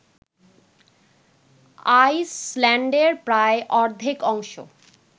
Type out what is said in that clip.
আইসল্যান্ডের প্রায় অর্ধেক অংশ